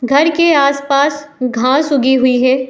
घर के आस-पास घाँस उगी हुई है।